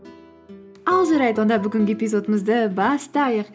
ал жарайды онда бүгінгі эпизодымызды бастайық